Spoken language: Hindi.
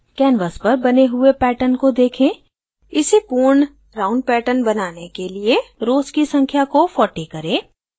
canvas पर बने हुए pattern को देखें इसे pattern round pattern बनाने के लिए rows की संख्या को 40 करें